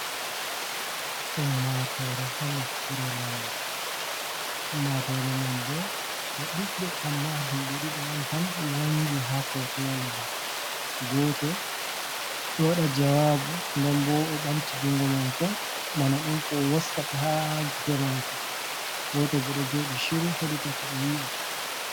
Ummatoore ha nokkure lamar, ummatore man bo ɓe ɗuɓɓe, amma yimɓe ɗiɗo on tan wanngi ha fotowol ngol, go'oto ɗo waɗa jawabu nden bo o ɓamti junngo mako bana ɗon ko'o wostata ha gite mako, go'oto godɗo joɗi siru heɗita ko oya wi'ata.